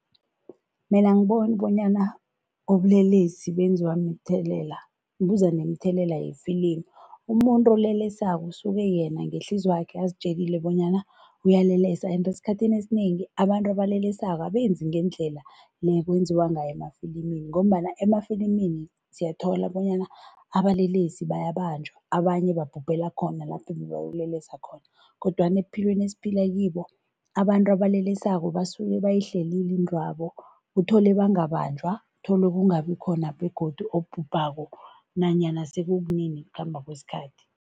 Mina angiboni bonyana ubulelesi benziwa mthelela, buza nemithelela yefilimu. Umuntu olelesako usuke yena ngehliziywakhe azitjelile bonyana uyalelesa ende esikhathini esinengi, abantu abalelesako abenzi ngendlela le ekwenziwa ngayo emafilimini ngombana emafilimini siyathola bonyana abalelesako babanjwa abanye babhubhela khona lapho ebebayokulelesa khona kodwana ebuphilweni esiphila kibo, abantu abalelesako basuke bayihlelile intwabo, uthole bangabanjwa, uthole kungabikhona begodu obhubhako nanya sekukunini ngokukhamba kwesikhathi.